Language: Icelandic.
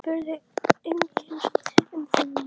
Hann spurði einskis um þennan mann.